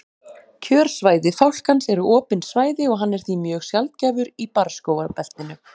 kjörsvæði fálkans eru opin svæði og hann er því mjög sjaldgæfur í barrskógabeltinu